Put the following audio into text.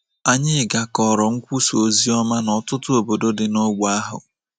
Anyị gakọrọ nkwusa ozioma n’ọtụtụ obodo dị n’ógbè ahụ.